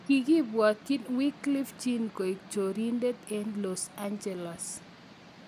kigibwotin wyclef jean koek chorindet eng Los angeles